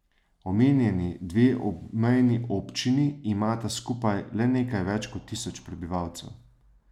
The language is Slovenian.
Omenjeni dve obmejni občini imata skupaj le nekaj več kot tisoč prebivalcev.